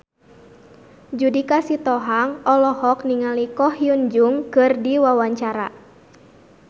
Judika Sitohang olohok ningali Ko Hyun Jung keur diwawancara